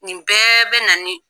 Nin bɛɛ bɛ na ni